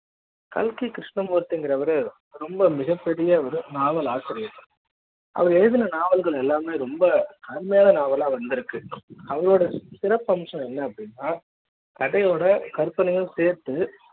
கல்கி கிருஷ்ணமூர்த்தி என்கிறவரு ரொம்ப மிகப்பெரிய ஒரு நாவல் ஆசிரியர் அவர் எழுதிய நாவல்கள் எல்லாமே ரொம்ப அருமையான நாவலா வந்திருக்கு அவருடைய சிறப்பம்சம் என்ன அப்படின்னா கதையோட கற்பனையும் சேர்த்து